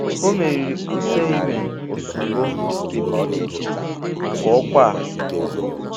Ọ meriri Oserheimen Osunbor nke PDP maka ọkwa a.